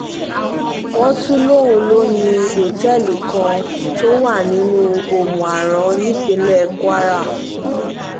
wọ́n tún lóun lò ní òtẹ́ẹ̀lì kan tó wà nílùú omu-aran nípínlẹ̀ kwara